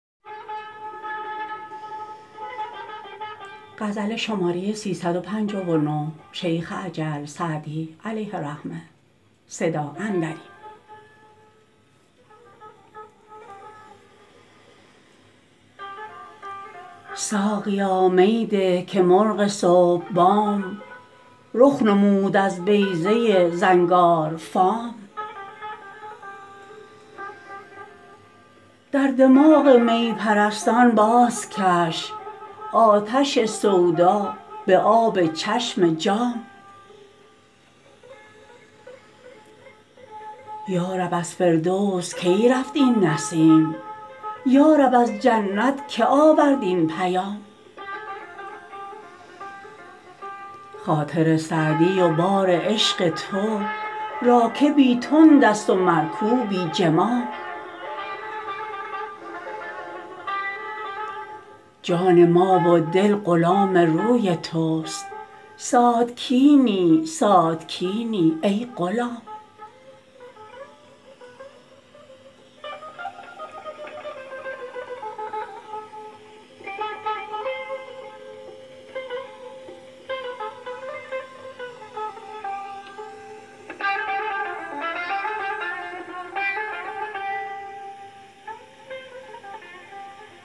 ساقیا می ده که مرغ صبح بام رخ نمود از بیضه زنگارفام در دماغ می پرستان بازکش آتش سودا به آب چشم جام یا رب از فردوس کی رفت این نسیم یا رب از جنت که آورد این پیام خاطر سعدی و بار عشق تو راکبی تند است و مرکوبی جمام جان ما و دل غلام روی توست ساتکینی ساتکینی ای غلام